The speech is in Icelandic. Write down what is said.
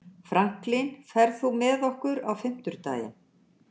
Franklin, ferð þú með okkur á fimmtudaginn?